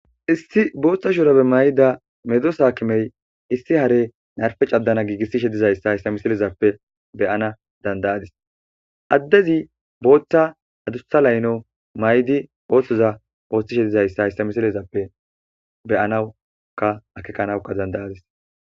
Issi booththa shurapbe may7ida medo saakimey issi hare narfe caddana giigissi she dizayssa hayssa misilezappe beyana dandayadis addezi booththa adusta layno maydi ooththoza ooththi shedizayssa hayssa misilezappe beyanawuka akekanawuka dandayadis.